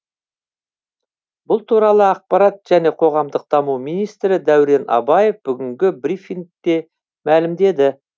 бұл туралы ақпарат және қоғамдық даму министрі дәурен абаев бүгінгі брифингте мәлімдеді